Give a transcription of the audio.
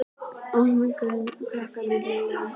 Oddný gaf krakkaskaranum kleinur og mjólk í eldhúsinu.